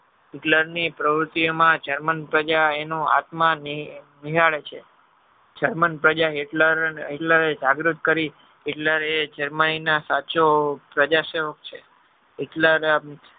hitler ની પ્રવુતિ માં germany પ્રજા એનો આત્મા નિહાળે છે germany પ્રજા Hitler જાગૃત કરી Hitler એ germany સાચો પ્રજા શોખ છે.